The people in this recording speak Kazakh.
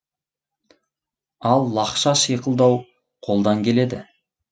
ал лақша шиқылдау қолдан келеді